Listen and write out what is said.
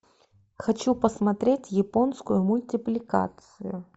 хочу посмотреть японскую мультипликацию